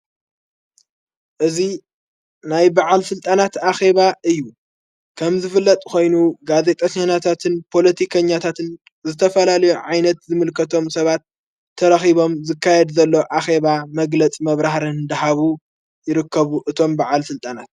እዙይ ናይ በዓል ሥልጣናት ኣኼባ እዩ ከም ዝፍለጥ ኾይኑ ጋዘጠኛታትን ፖለቲከኛ ታትን ዝተፈላልዮ ዓይነት ዝምልከቶም ሰባት ተረኺቦም ዝካየድ ዘሎ ኣኼባ መግለጽ መብራህርንን ደሃቡ ይርከቡ እቶም በዓል ሥልጣናት::